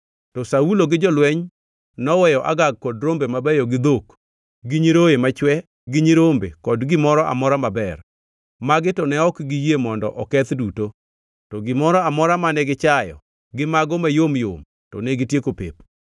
To Saulo gi jolweny noweyo Agag kod rombe mabeyo, gi dhok, gi nyiroye machwe gi nyirombe kod gimoro amora maber. Magi to ne ok giyie mondo oketh duto, to gimoro amora mane gichayo gi mago mayom yom to negitieko pep.